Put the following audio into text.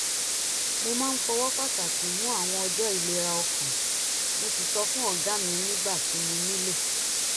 mo máa ń fọwọ́ pàtàkì mú àwọn ọjọ́ ìlera ọkàn mo sì sọ fún ọ̀gá mi nígbà tí mo nílò